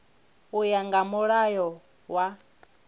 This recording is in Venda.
u ya nga mulayo wa